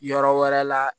Yɔrɔ wɛrɛ la